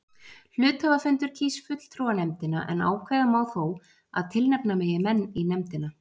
Hluthafafundur kýs fulltrúanefndina en ákveða má þó að tilnefna megi menn í nefndina.